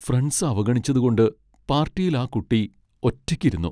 Friends അവഗണിച്ചതു കൊണ്ട് പാർട്ടിയിൽ ആ കുട്ടി ഒറ്റയ്ക്ക് ഇരുന്നു.